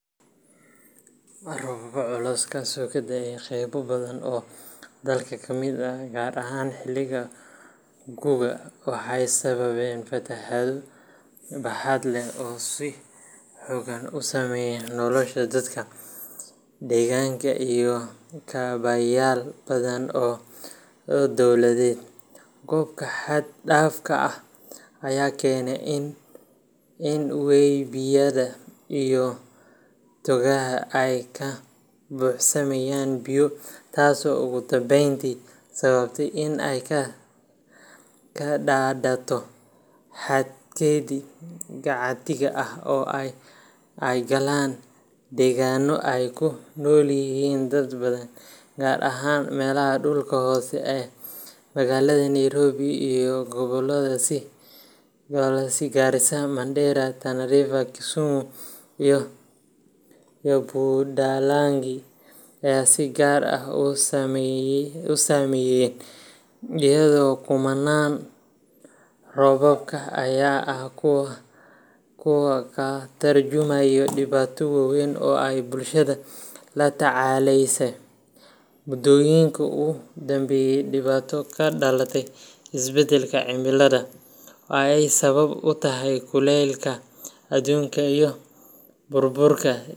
Roobab culus oo ka da’ay qaybo badan oo dalka ka mid ah, gaar ahaan xilliga gu’ga, waxay sababeen fatahaado baaxad leh oo si xooggan u saameeyay nolosha dadka, deegaanka, iyo kaabayaal badan oo dowladeed. Roobka xad dhaafka ah ayaa keenay in webiyada iyo togagga ay ka buuxsamaan biyo, taasoo ugu dambeyntii sababtay in ay ka daadato xadkeedii caadiga ahaa oo ay galaan deegaano ay ku nool yihiin dad badan, gaar ahaan meelaha dhulka hoose ah. Magaalada Nairobi iyo gobollada sida Garissa, Mandera, Tana River, Kisumu iyo Budalangi ayaa si gaar ah u saameeyay, iyadoo kumannaan qoysas ah ay waayeen guryahoodii, hantidoodii, iyo mararka qaar noloshoodii. Fatahaadaha ka dhashay roobabka ayaa ah kuwo ka tarjumaya dhibaato weyn oo ay bulshada la tacaaleysay muddooyinkii u dambeeyay dhibaato ka dhalata isbeddelka cimilada, oo ay sabab u tahay kuleylka adduunka iyo burburka.